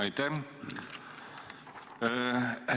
Aitäh!